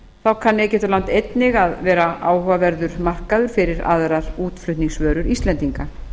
þá kann egyptaland einnig að verða áhugaverður markaður fyrir aðrar útflutningsvörur íslendinga